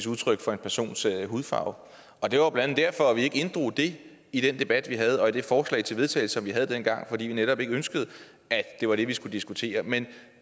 udtryk for en persons hudfarve det var blandt andet derfor vi ikke inddrog det i den debat vi havde og i det forslag til vedtagelse som vi havde dengang fordi vi netop ikke ønskede at det var det vi skulle diskutere men